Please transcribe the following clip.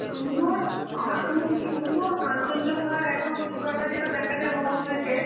সুন্দর~, আমরা খুবই সুন্দর কাঞ্চনজঙ্ঘার একদম চুড়াটা যেটা দেখা যায় মহল থেকে